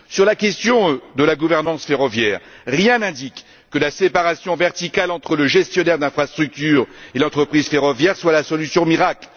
Sur la question de la gouvernance ferroviaire, rien n'indique que la séparation verticale entre le gestionnaire d'infrastructures et l'entreprise ferroviaire soit la solution miracle.